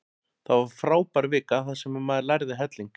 Það var frábær vika þar sem maður lærði helling.